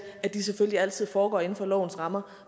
at de selvfølgelig altid foregår inden for lovens rammer